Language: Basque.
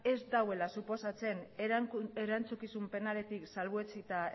ez duela suposatzen erantzukizun penaletik salbuetsita